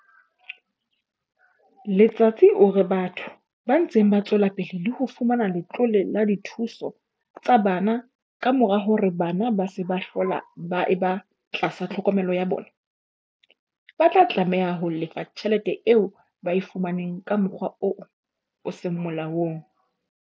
Letsatsi o re batho ba ntseng ba tswela pele ho fumana letlole la dithuso tsa bana kamora hore bana ba se ba hlola ba eba tlasa tlhokomelo ya bona, ba tla tlameha ho lefa tjhelete eo ba e fumaneng ka mokgwa oo o seng molaong.